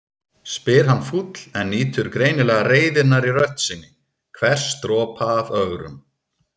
spyr hann fúll en nýtur greinilega reiðinnar í rödd sinni, hvers dropa af ögrun.